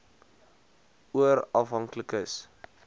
oor afhanklike s